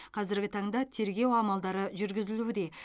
қазіргі таңда тергеу амалдары жүргізілуде